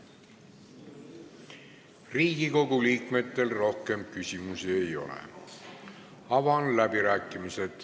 Riigikogu liikmetel rohkem küsimusi ei ole.